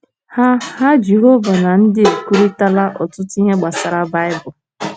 Ha Ha Jehova na ndị a ekwurịtala ọtụtụ ihe gbasara Baịbụl.